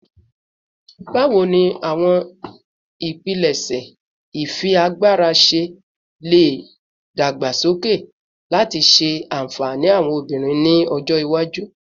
Bawo ni awọn ipilẹṣẹ ifiagbara ṣe le dagbasoke lati ṣe anfani awọn obinrin ni ọjọ iwaju?